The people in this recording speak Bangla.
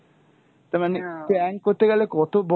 তার মানে prank করতে গেলে কত বড়